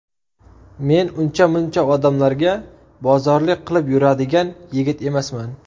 Men uncha-muncha odamlarga bozorlik qilib yuradigan yigit emasman.